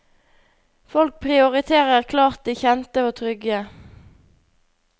Folk prioriterer klart det kjente og trygge.